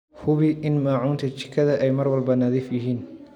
Hubi in maacuunta jikada ay mar walba nadiif yihiin.